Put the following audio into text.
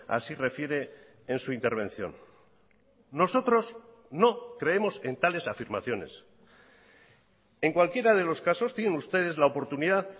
así refiere en su intervención nosotros no creemos en tales afirmaciones en cualquiera de los casos tienen ustedes la oportunidad